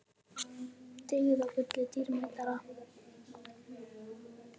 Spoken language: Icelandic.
Dyggð er gulli dýrmætari.